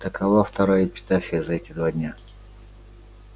такова вторая эпитафия за эти два дня